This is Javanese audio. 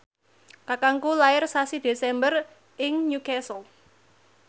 kakangku lair sasi Desember ing Newcastle